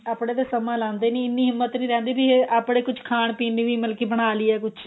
ਆਪਣੇ ਤੇ ਸਮਾ ਲਾਂਦੇ ਨੀ ਇੰਨੀ ਹਿਮਤ ਨੀ ਰਹਿੰਦੀ ਵੀ ਆਪਣੇ ਕੁੱਝ ਖਾਣ ਪੀਣ ਲਈ ਵੀ ਮਤਲਬ ਵੀ ਬਣਾ ਲਈਏ ਕੁੱਝ